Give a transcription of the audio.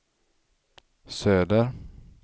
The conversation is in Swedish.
söder